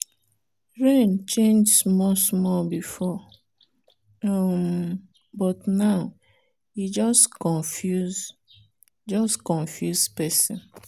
rain change small small before um but now e just confuse just confuse person.